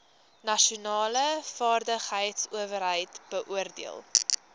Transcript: nasionale vaardigheidsowerheid beoordeel